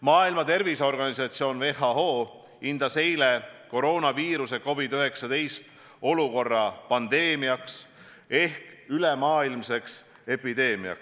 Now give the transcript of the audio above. Maailma Terviseorganisatsioon ehk WHO andis eile hinnangu, et koroonaviiruse COVID-19 tõttu on tegu pandeemia ehk ülemaailmse epideemiaga.